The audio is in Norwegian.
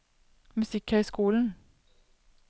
musikkhøyskolen